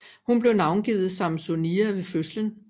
Hun blev navngivet Sampsonia ved fødslen